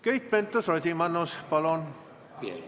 Keit Pentus-Rosimannus palun!